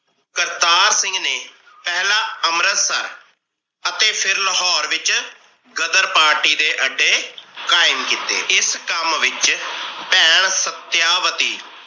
ਕਰਤਾਰ ਸਿੰਘ ਨੇ ਪਹਿਲਾ ਅੰਮ੍ਰਿਤਸਰ ਅਤੇ ਫਿਰ ਲਾਹੌਰ ਵਿਚ ਗ਼ਦਰ party ਦੇ ਅੱਡੇ ਕਾਇਮ ਕੀਤੇ। ਇਸ ਕਾਮ ਵਿਚ ਭੈਣ ਸਤਿਆਵਤੀ